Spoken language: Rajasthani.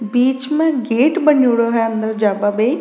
बीच में गेट बणयोडो है अंदर जाबा बे।